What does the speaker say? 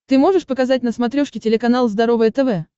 ты можешь показать на смотрешке телеканал здоровое тв